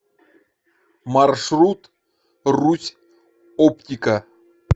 маршрут русь оптика